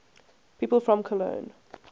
people from cologne